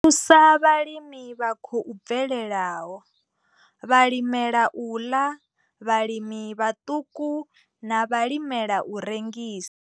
I thusa vhalimi vha khou bvelelaho, vhalimela u ḽa, vhalimi vhaṱuku na vhalimela u rengisa.